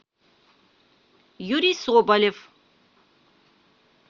юрий соболев